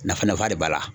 Nafa nafa de b'a la